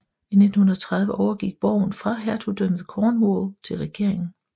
I 1930 overgik borgen fra Hertugdømmet Cornwall til regeringen